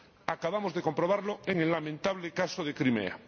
Acabamos de comprobarlo en el lamentable caso de Crimea.